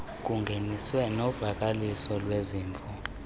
bungeniswe novakaliso lwezimvo